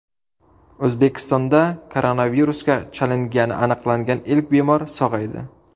O‘zbekistonda koronavirusga chalingani aniqlangan ilk bemor sog‘aydi.